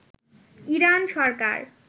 Iran Sarkar